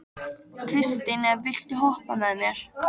Kristine, viltu hoppa með mér?